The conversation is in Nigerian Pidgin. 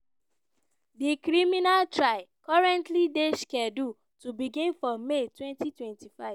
di criminal trial currently dey scheduled to begin for may 2025.